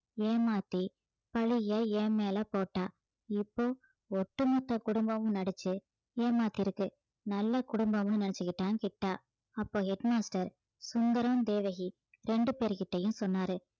ஏமாத்தி பழிய என் மேல போட்டா இப்போ ஒட்டுமொத்த குடும்பமும் நடிச்சு ஏமாத்தி இருக்கு நல்ல குடும்பம்னு நினைச்சுகிட்டான் கிட்டா அப்போ head master சுந்தரம் தேவகி ரெண்டு பேர்கிட்டயும் சொன்னாரு